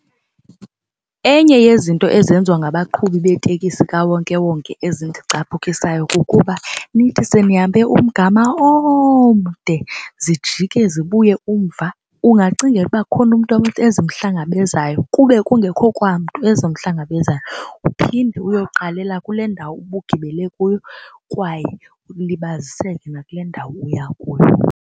Enye yezinto ezenziwa ngabaqhubi beetekisi zikawonkewonke ezindicaphukisayo kukuba nithi senihambe umgama omde zijike zibuye umva. Ungacingela ukuba kukhona umntu ezimhlangabezayo kube kungekho kwamntu ezimhlangabezayo uphinde uyoqalela kule ndawo ubugibele kuyo kwaye ulibaziseke nakule ndawo uya kuyo.